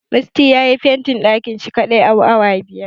Musty yayi fentin ɗakin shi kaɗai a awa biyar.